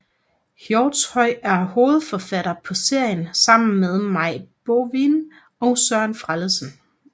Hjortshøj er hovedforfatter på serien sammen med Maj Bovin og Søren Frellesen